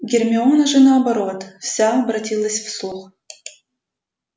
гермиона же наоборот вся обратилась в слух